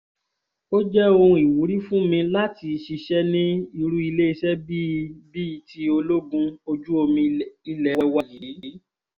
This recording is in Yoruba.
ó jẹ́ ohun ìwúrí fún mi láti ṣiṣẹ́ ní irú iléeṣẹ́ bíi bíi ti ológun ojú omi ilé wa yìí